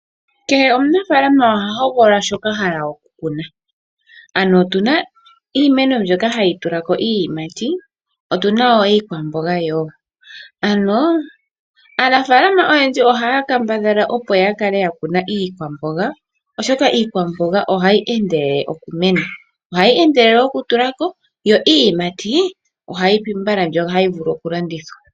Kehe omunaafalama oha hogolola shoka ahala okukuna ano otuna iimeno mbyoka hayi tulako iiyimati otuna wo iikwamboga yoo mpano aanafalama oyendji ohaya kambadhala okukuna iikwamboga oshoka iikwamboga ohayi endelele okutula ko yo iiyimati ohayi pi mbala yo ohayi vulu okulandithwa.